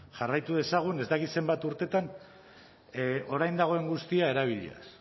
jarraitu dezagun ez dakit zenbat urteetan orain dagoen guztia erabiliaz